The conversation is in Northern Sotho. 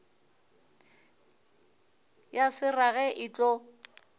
ya se rage e tlo